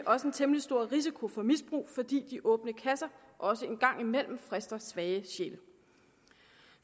også en temmelig stor risiko for misbrug fordi de åbne kasser også en gang imellem frister svage sjæle